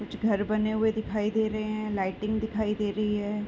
कुछ घर बने हुए दिखाई दे रहे हैं। लाइटिंग दिखाई दे रही हैं।